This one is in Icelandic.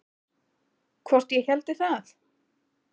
Hvort ég héldi það?